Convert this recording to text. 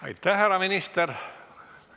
Aitäh, härra minister!